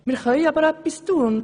Wir können aber etwas tun.